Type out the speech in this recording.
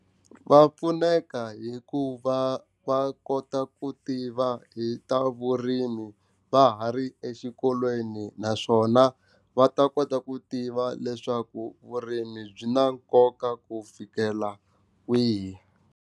Va pfuneka hikuva va kota ku tiva hi ta vurimi va ha ri exikolweni naswona va ta kota ku tiva leswaku vurimi byi na nkoka ku fikela kwihi.